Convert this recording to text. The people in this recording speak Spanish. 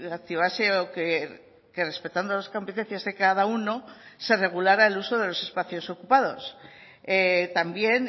activase o que respetando las competencias de cada uno se regulara el uso de los espacios ocupados también